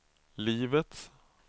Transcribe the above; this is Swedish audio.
livets